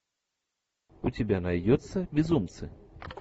у тебя найдется безумцы